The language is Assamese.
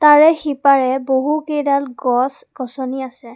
তাৰে সিপাৰে বহুকেইডাল গছ-গছনি আছে।